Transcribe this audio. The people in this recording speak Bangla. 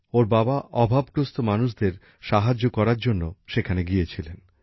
ওর বাবা অভাবগ্রস্থ মানুষদের সাহায্য করার সেখানে গিয়েছিলেন